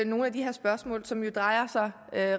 nogle af de her spørgsmål som jo drejer sig